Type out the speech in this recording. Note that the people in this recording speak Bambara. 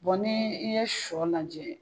Bɔn ni i ye sɔ lajɛ